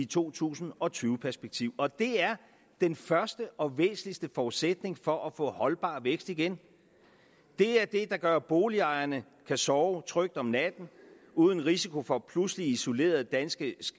to tusind og tyve perspektiv og det er den første og væsentligste forudsætning for at få holdbar vækst igen det er det der gør at boligejerne kan sove trygt om natten uden risiko for pludselige isolerede danske